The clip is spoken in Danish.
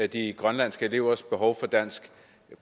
de grønlandske elevers behov for dansk